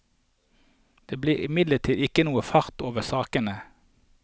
Det blir imidlertid ikke noen fart over sakene.